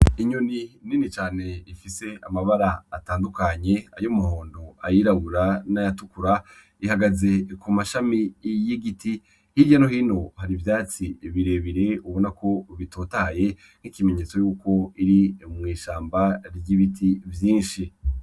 Inyoni nini cane ifise amabara atandukanye ay' umuhondo ayirabura nayatukura, ihagaze ku mashami y'igiti hirya no hino hari ivyatsi birebire ubonako bitotahaye nk'ikimenyetso yuko biri mw'ishamba ry'ibiti vyinshi.